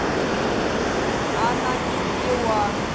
ананиндеуа